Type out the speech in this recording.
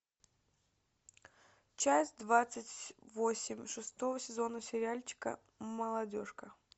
часть двадцать восемь шестого сезона сериальчика молодежка